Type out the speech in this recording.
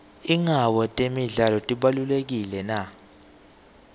ingabe temidlalo tibalulekile na